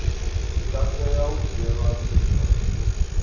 tsha tea u dzhielwa nha